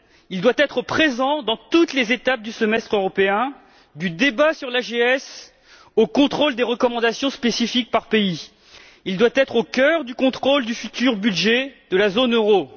Il doit être présent à toutes les étapes du semestre européen, du débat sur l'AGS au contrôle des recommandations spécifiques par pays. Il doit être au cœur du contrôle du futur budget de la zone euro.